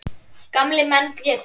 Gamlir menn grétu.